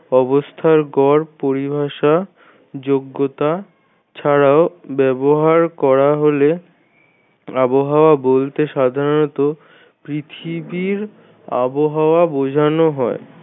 অবস্থার গড় পরিভাষা যোগ্যতা ছাড়াও ব্যবহার করা হলে আবহাওয়া বলতে সাধারণত পৃথিবীর আবহাওয়া বোঝানো হয়।